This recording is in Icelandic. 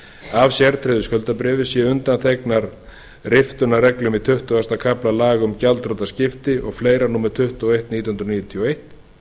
af sértryggðu skuldabréfi séu undanþegnar riftunarreglum í tuttugasta kafla laga um gjaldþrotaskipti og fleira númer tuttugu og eitt nítján hundruð níutíu og eins